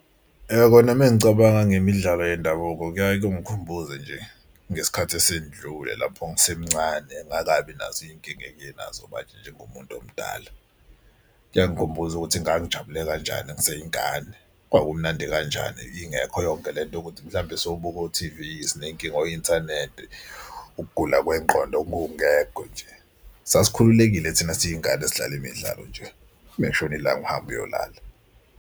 Ya, kona uma ngicabanga ngemidlalo yendabuko kuyaye kungikhumbuze nje ngesikhathi esendlule lapho ngisemncane ngingakabi nazo izinkinga enginazo manje njengomuntu omdala. Kuyangikhumbuza ukuthi ngangijabule kanjani ngiseyingane. Kwakumnandi kanjani ingekho yonke le nto yokuthi mhlawumbe siwobuka o-T_V siney'nkinga o-inthanethi, ukugula kwengqondo okungekho nje. Sasikhululekile thina siy'ngane sidlala imidlalo nje uma kushona ilanga uhambe uyolala.